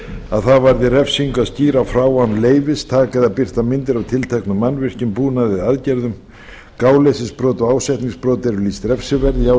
að það varði refsingu að skýra frá án leyfis taka eða birta myndir af tilteknum mannvirkjum búnaði eða aðgerðum gáleysisbrot og ásetningsbrot eru lýst refsiverð í